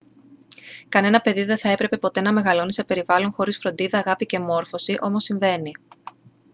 κανένα παιδί δεν θα έπρεπε ποτέ να μεγαλώνει σε περιβάλλον χωρίς φροντίδα αγάπη και μόρφωση όμως συμβαίνει